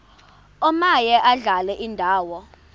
omaye adlale indawo